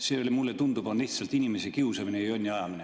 See on, mulle tundub, lihtsalt inimese kiusamine ja jonni ajamine.